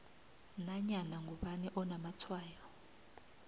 nanyana ngubani onamatshwayo